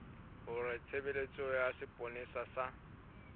hore tshebeletso ya sepolesa sa